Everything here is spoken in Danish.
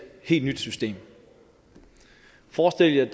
helt nyt system forestil jer at